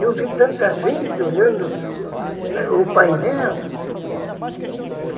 Eu vi tanta gente olhando o o painel.